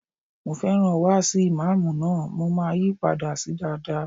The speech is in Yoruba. Mo fẹ́ràn wáàsi ìmáàmù náà, mo máa yí padà sí dáadáa.